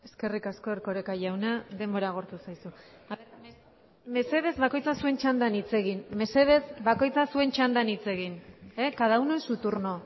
eskerrik asko erkoreka jauna denbora agortu zaizu mesedez bakoitza zuen txandan hitz egin mesedez bakoitza zuen txandan hitz egin cada uno en su turno